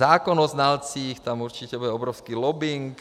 Zákon o znalcích, tam určitě bude obrovský lobbing.